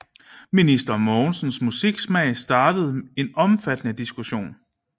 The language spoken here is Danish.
Minister Mogensens musiksmag startede en omfattende diskussion